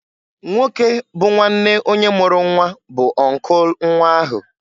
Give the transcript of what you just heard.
Nwoke bụ nwanne onye mụrụ nnwa bu uncle nnwa ahụ.